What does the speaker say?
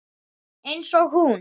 Einsog hún.